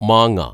മാങ്ങ